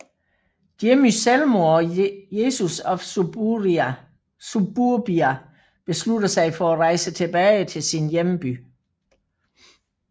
Jimmy selvmord og Jesus of Suburbia beslutter sig for at rejse tilbage til sin hjemby